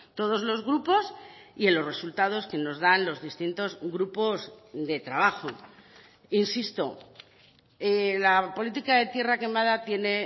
todos los grupos y en los resultados que nos dan los distintos grupos de trabajo insisto la política de tierra quemada tiene